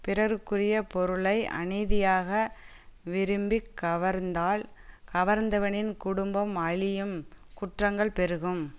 பிறருக்குரிய பொருளை அநீதியாக விரும்பிக் கவர்ந்தால் கவர்ந்தவனின் குடும்பம் அழியும் குற்றங்கள் பெருகும்